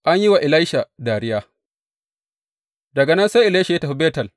An yi wa Elisha dariya Daga nan sai Elisha ya tafi Betel.